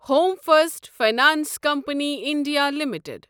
home first finance company India limited